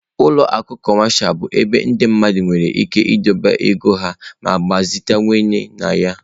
Ụlọ akụ cọmashal bụ ebe ndị mmadụ nwere ike idobe ego ha ma gbazitekwa na ya.